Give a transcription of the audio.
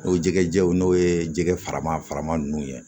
N'o jɛgɛw n'o ye jɛgɛ farama faraman ninnu ye